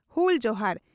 ᱦᱩᱞ ᱡᱚᱦᱟᱨ ᱾